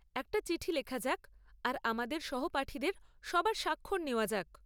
একটা চিঠি লেখা যাক আর আমাদের সহপাঠীদের সবার স্বাক্ষর নেওয়া যাক।